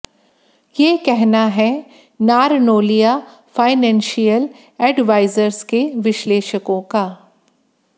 यह कहना है नारनोलिया फाइनैंशियल एडवाइजर्स के विश्लेषकों का